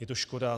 Je to škoda.